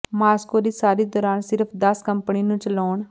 Moscow ਦੀ ਸਾਰੀ ਦੌਰਾਨ ਸਿਰਫ ਦਸ ਕੰਪਨੀ ਨੂੰ ਚਲਾਉਣ